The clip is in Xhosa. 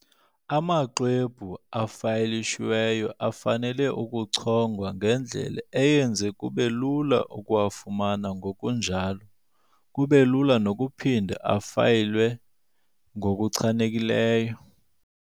Amaxwebhu afayilishiweyo afanele ukuchongwa ngendlela eyenza kube lula ukuwafumana ngokunjalo kube lula nokuphinda afayilwe ngokuchanekileyo.